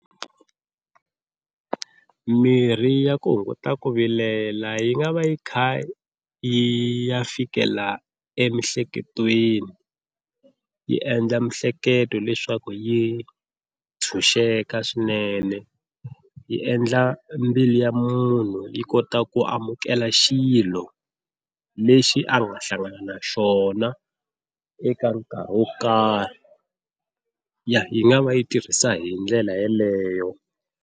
Mirhi ya ku hunguta ku vilela yi nga va yi kha yi ya fikela emiehleketweni yi endla miehleketo leswaku yi tshunxeka swinene yi endla mbilu ya munhu yi kota ku amukela xilo lexi a nga hlangana na xona eka nkarhi wo karhi yi nga va yi tirhisa hi ndlela yeleyo.